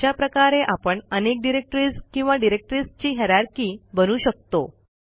अशा प्रकारे आपण अनेक डिरेक्टरीज किंवा डिरेक्टरीजची हायररची बनवू शकतो